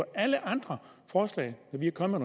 alle andre forslag hvor vi er kommet